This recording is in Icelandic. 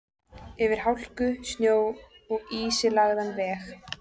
Yfir hálku, snjó og ísilagðan veg.